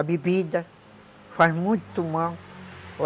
A bebida faz muito mal.